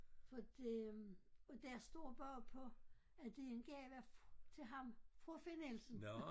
Fordi øh og der står bagpå at det er en gave til ham fra Finn Nielsen